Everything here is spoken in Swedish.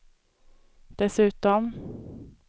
dessutom